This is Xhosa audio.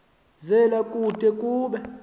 zela kude kube